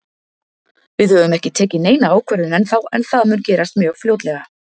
Við höfum ekki tekið neina ákvörðun ennþá en það mun gerast mjög fljótlega.